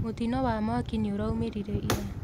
Mũtino wa mwaki nĩũraumĩrire ira.